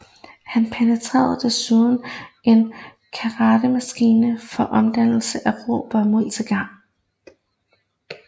Han patenterede desuden en kartemaskine for omdannelse af rå bomuld til garn